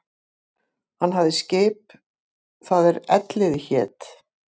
Hann hafði skip það er Elliði hét.